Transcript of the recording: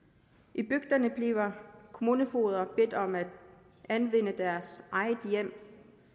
i bygderne bliver kommunefogeder bedt om at anvende deres eget hjem